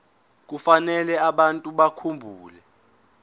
kufanele abantu bakhumbule